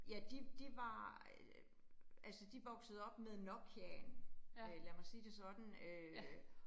Ja, de de var øh altså de voksede op med Nokiaen, øh lad mig sige det sådan øh